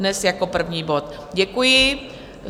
Dnes jako první bod, děkuji.